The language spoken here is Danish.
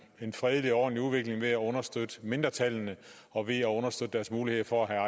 en fredelig og ordentlig udvikling ved at understøtte mindretallene og ved at understøtte deres muligheder for at